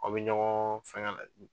Aw bɛ ɲɔgɔn fɛnkɛ .